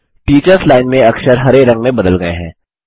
teachers line में अक्षर हरे रंग में बदल गये हैं